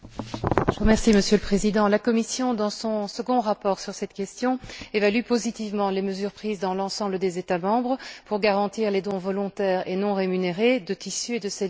Monsieur le Président, la Commission, dans son second rapport sur cette question, évalue positivement les mesures prises dans l'ensemble des États membres pour garantir les dons volontaires et non rémunérés de tissus et de cellules humains.